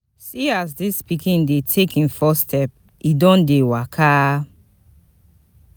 Di first time wey my baby talk mama, e sweet me.